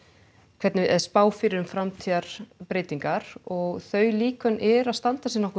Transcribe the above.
hvernig eða spá fyrir um framtíðarbreytingar og þau líkön eru að standa sig nokkuð